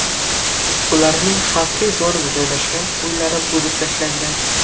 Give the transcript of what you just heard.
Ularning xavfli zonada joylashgan uylari buzib tashlangan.